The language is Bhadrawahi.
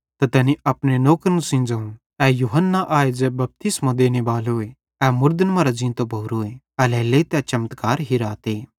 तैनी अपने नौकरन सेइं ज़ोवं ए यूहन्ना आए ज़ै बपतिस्मो देनेबालोए ए मुड़दन मरां ज़ींतो भोरोए एल्हेरेलेइ तै चमत्कार हिराते